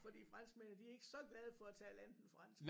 Fordi franskmændene de er ikke så glade for at tale andet end fransk